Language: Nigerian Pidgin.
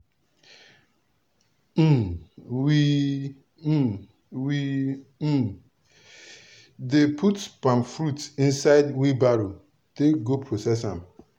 um we um we um dey put palm fruit inside wheelbarrow take go process am.